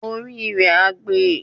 Orí rẹ á gbe.